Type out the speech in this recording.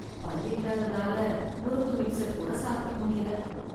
பல் இல்லாததால முறுக்கு மிக்ஸர் கூட சாப்பிட முடியல.